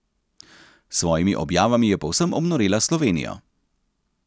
S svojimi objavami je povsem obnorela Slovenijo.